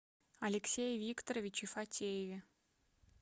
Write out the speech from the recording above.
алексее викторовиче фатееве